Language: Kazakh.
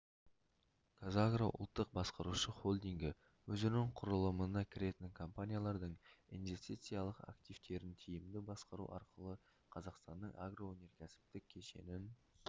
қазагро ұлттық басқарушы холдингі өзінің құрылымына кіретін компаниялардың инвестициялық активтерін тиімді басқару арқылы қазақстанның агроөнеркәсіптік кешенін